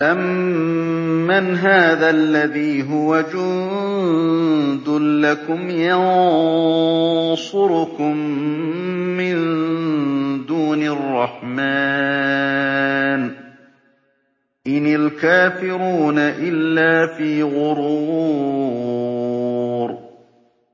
أَمَّنْ هَٰذَا الَّذِي هُوَ جُندٌ لَّكُمْ يَنصُرُكُم مِّن دُونِ الرَّحْمَٰنِ ۚ إِنِ الْكَافِرُونَ إِلَّا فِي غُرُورٍ